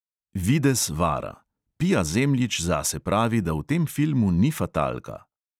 Videz vara: pia zemljič zase pravi, da v tem filmu ni fatalka.